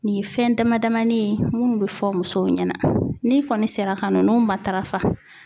Nin fɛn damadamanin ye minnu bɛ fɔ musow ɲɛna n'i kɔni sera ka na ninnu matarafa